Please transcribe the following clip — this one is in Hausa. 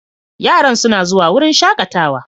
Yara suna zuwa wurin shakatawa.